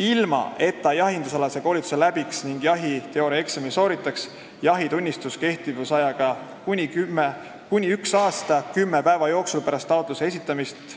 ilma et ta jahindusalase koolituse läbiks ning jahiteooriaeksami sooritaks, jahitunnistus kehtivusajaga kuni üks aasta kümne päeva jooksul pärast taotluse esitamist.